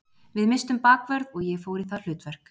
Við misstum bakvörð og ég fór í það hlutverk.